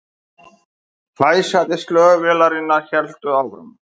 Hvæsandi slög vélarinnar héldu áfram